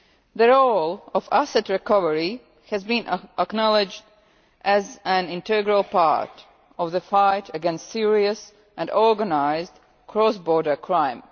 The role of asset recovery has been acknowledged as an integral part of the fight against serious and organised cross border crime.